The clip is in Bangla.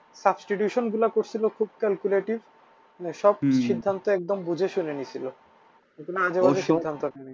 Substitution গুলা করসিল খুব calculative সব সিদ্ধান্ত একদম বুঝে শুনে নিচ্ছিল কোন আজেবাজে সিদ্ধান্ত নেয়নি।